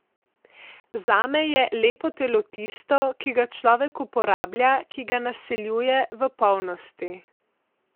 Zame je lepo telo tisto, ki ga človek uporablja, ki ga naseljuje v polnosti.